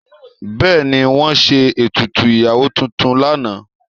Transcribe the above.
Bẹ́ẹ̀ni, wọ́n ṣe ètùtù ìyàwó tuntun lánàá.